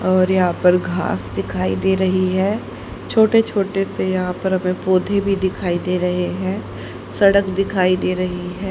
और यहां पर घास दिखाई दे रही है छोटे छोटे से यहां पर हमें पौधे भी दिखाई दे रहे हैं सड़क दिखाई दे रही है।